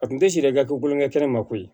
A kun tɛ siri ka kolonkɛ kɛnɛ ma koyi